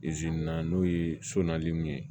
n'o ye so nali ye